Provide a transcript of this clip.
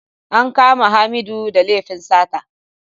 An kama Hamidu da laifin sata.